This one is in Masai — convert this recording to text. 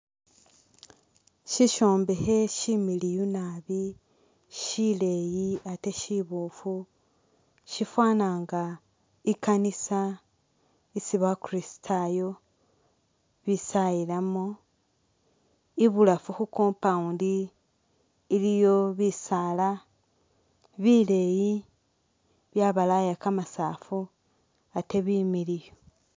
Syishombekhe syimiliyu nabi syileeyi ate syiboofu shifwana nga i'kanisa isi bakuristayo besayilamu, ibulafu khu compound iliyo bisaala bileyi byabalaya kamasafu ate bimiliyu.